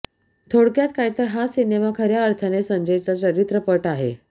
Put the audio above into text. थोडक्यात काय तर हा सिनेमा खऱ्या अर्थाने संजयचा चरित्रपट आहे